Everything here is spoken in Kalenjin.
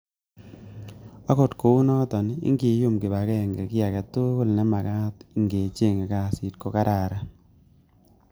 Okot kounoton, ingiyum kibag'eng'e kiy agetugul nemakat ing'echange kasit ko kararan.